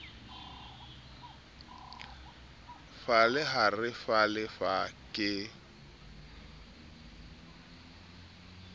falle ha re falle ke